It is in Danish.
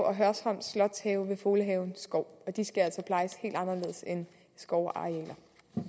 og hørsholm slotshave ved folehaven skov og de skal altså plejes helt anderledes end skovarealer